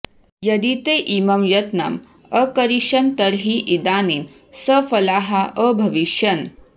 यदि ते इमं यत्नम् अकरिष्यन् तर्हि इदानीं सफलाः अभविष्यन्